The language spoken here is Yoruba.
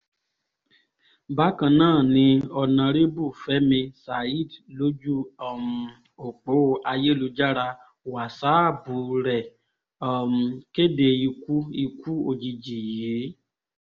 bákan náà ni ọ̀nàrẹ́bù fẹmi saheed lójú um ọ̀pọ̀ ayélujára wàsáàpù rẹ̀ um kéde ikú ikú òjijì yìí